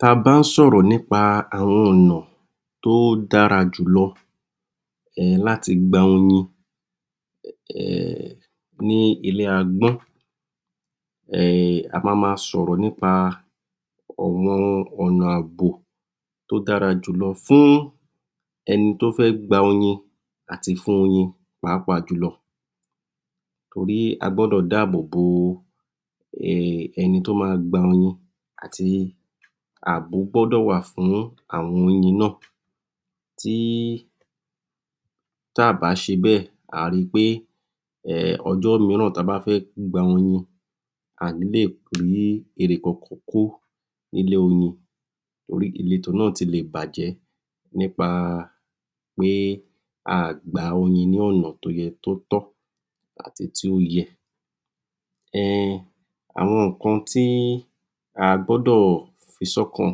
Tá a bá sọ rọ ní pa àwọn ọ nà tó dára jùlọ láti gba oyin ní ilé àgbùn a máa sọ rọ ní pa ọ nà àbò tó dára jùlọ fún ẹni tó fẹ gba oyin àti fún oyin pàápàá jùlọ torí agbọ dò dáàbò bo ẹni tó máa gba oyin àti àbò gbọ dọ wà fún àwọn oyin no tí tá a bá se bẹ a rí pé ojú míràn tá a bá fẹ gba oyin àní lè rí èrè kọ ni ilé oyin torí ilètò náà sì lè bàjẹ nítorí pé a gba oyin lọ nà tó tó àì tó yé àwọn ìkan tí agbọ dò fi sí ọkàn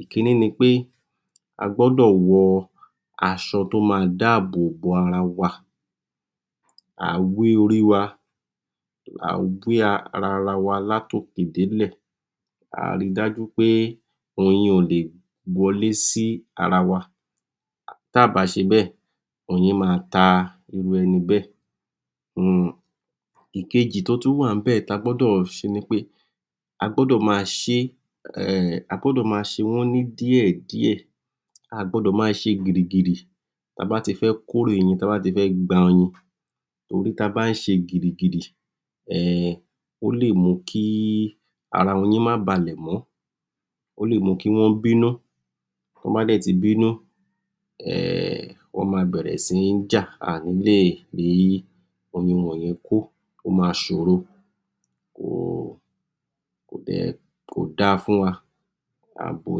ìkìní ni pé agbọ dò wọ asọ tó máa dáàbò bo ara wa a wẹ orí wa a wẹ ara wa láti òkè dé ilé a rí dájú pé oyin ò le wọlé sí ara wa tí a bá se bẹ́ oyin máa tà irú ẹni bẹ́ èkejì tí agbọ dò se agbọ dò má se wà ndíẹ díẹ agbọ dò má se gírígírí tí a bá ti fẹ gba oyin torí tá a bá tẹ sẹ gírígírí ó lè mú kí ara oyin má bàlẹ mọ tí wón bá ti bínú wón máa bẹ rẹ sí ni já àní lè rí oyin wan yè kó máa sọ rọ kó dà fún wa àbò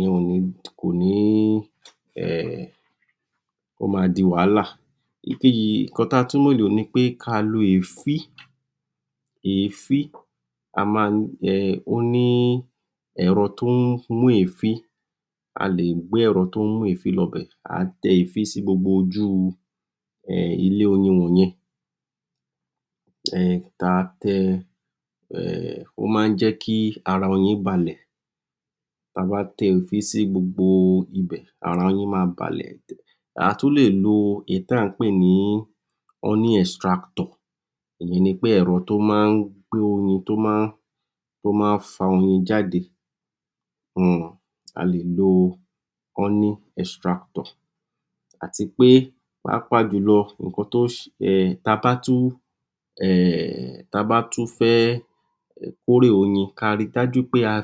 yẹn kò ní ó máa dì wàhálà ìkan tí a tún lè lé lo ni ẹfí oní erò tó mú ẹfẹ lọ bẹ a tẹ ẹ fí sí gbogbo oju ilé oyin yẹn ó máa jẹ kí ara oyin bálẹ a tún lè lo èyí tí a pé ní honey extractor eyàn ni pé ẹrọ tó máa fà oyin jáde a lè lo honey extractor àti pé pàápàá jùlọ tá a bá tún fẹ kọ rẹ oyin ká rí dájú pé ká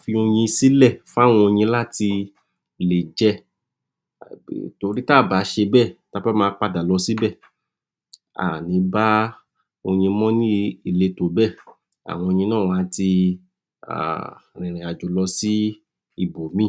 fi oyin sí lé láti lè jẹ tórí tá a bá se bẹ tá a bá máa padà lọ síbẹ àní bá oyin mọ ní ilètò bẹ àwọn oyin náà á ti rìn rìn ajo lọ sí ibòmí